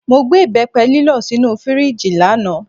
Mo gbé ìbẹ́pẹ lílọ̀ sínú fíríjì lánàá.